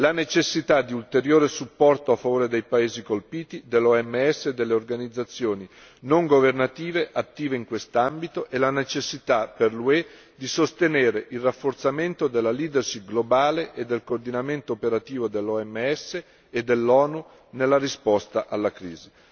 la necessità di ulteriore supporto a favore dei paesi colpiti, dell'OMS e delle organizzazioni non governative attive in questo ambito e la necessità per l'UE di sostenere il rafforzamento della leadership globale e del coordinamento operativo dell'OMS e dell'ONU nella risposta alla crisi.